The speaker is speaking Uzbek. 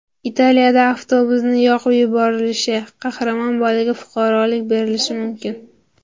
Italiyada avtobusning yoqib yuborilishi: Qahramon bolaga fuqarolik berilishi mumkin.